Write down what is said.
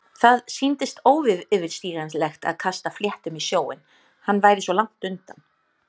Það sýndist óyfirstíganlegt að kasta fléttum í sjóinn- hann væri svo langt undan.